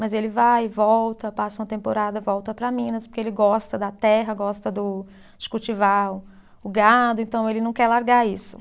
Mas ele vai, volta, passa uma temporada, volta para Minas, porque ele gosta da terra, gosta do de cultivar o gado, então ele não quer largar isso.